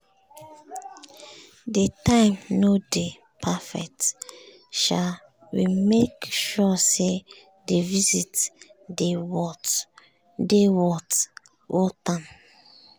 di time nor dey perfect um sha we make sure say di visit dey worth am. um